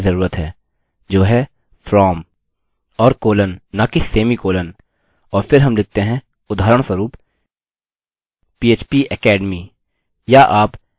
हमें standardised mail header के साथ कार्य करने की जरूरत है जो है from: और कोलन न कि सेमीकोलन और फिर हम लिखते हैं उदाहरणस्वरूप php academy